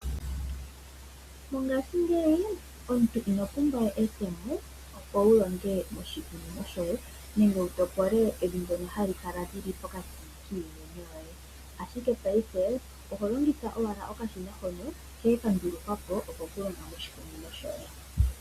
Mongashiingeyi omuntu iho pumbwa we etemo opo wu longe moshikunino shoye, nenge wu topole evi ndyono hali kala lili pokati kiimeno yoye. Ashike paife oho longitha owala okashina hono hene ka ndulukwa po oko ku longa moshikunino shoye.